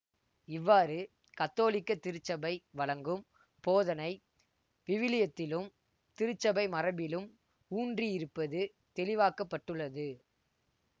இவ்வாறு கத்தோலிக்க திருச்சபை வழங்கும் போதனை விவிலியத்திலும் திருச்சபை மரபிலும் ஊன்றியிருப்பது தெளிவாக்கப்பட்டுள்ளது